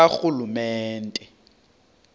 karhulumente